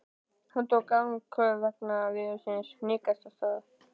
Hann tók andköf vegna veðursins og hnikaðist af stað.